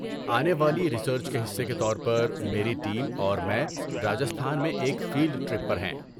آنے والی ریسرچ کے حصے کے طور پر میری ٹیم اور میں راجستھان میں ایک فیلڈ ٹرپ پر ہیں۔